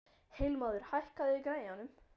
Heilmóður, hækkaðu í græjunum.